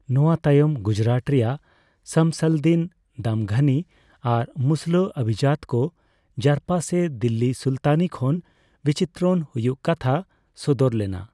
ᱱᱚᱣᱟ ᱛᱟᱭᱚᱢ ᱜᱩᱡᱨᱟᱴ ᱨᱮᱭᱟᱜ ᱥᱟᱢᱥᱟᱞᱫᱤᱱ ᱫᱟᱢᱜᱷᱟᱱᱤ ᱟᱨ ᱢᱩᱥᱞᱟᱹ ᱚᱵᱷᱤᱡᱟᱛ ᱠᱚ ᱡᱟᱨᱯᱟ ᱥᱮ ᱫᱤᱞᱞᱤ ᱥᱩᱞᱛᱟᱱᱤ ᱠᱷᱚᱱ ᱵᱤᱪᱤᱛᱨᱚᱱ ᱦᱩᱭᱩᱜ ᱠᱟᱛᱷᱟ ᱥᱚᱫᱚᱨ ᱞᱮᱱᱟ ᱾